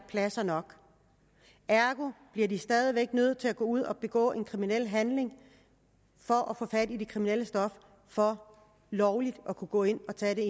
pladser nok ergo bliver de stadig væk nødt til at gå ud og begå kriminelle handlinger for at få fat i det kriminelle stof for lovligt at kunne gå ind og tage det